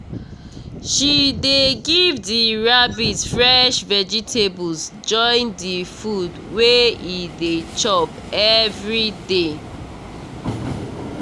she dey give the rabbit fresh vegetables join the food wey e dey chop everyday